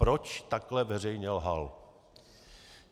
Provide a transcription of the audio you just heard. Proč takhle veřejně lhal.